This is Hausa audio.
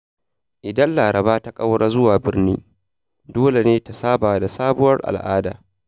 Idan Laraba ta ƙaura zuwa birni, dole ne ta saba da sabuwar al’ada.